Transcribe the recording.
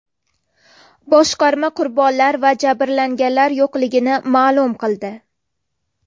Boshqarma qurbonlar va jabrlanganlar yo‘qligini ma’lum qildi.